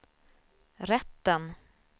rätten